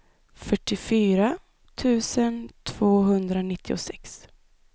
fyrtiofyra tusen tvåhundranittiosex